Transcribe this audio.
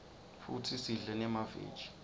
futsi sidle nemaveji